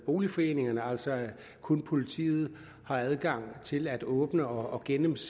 boligforeningerne altså at kun politiet har adgang til at åbne og gennemse